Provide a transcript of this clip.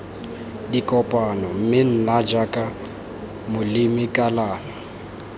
dikopano mme nna jaaka molemikalona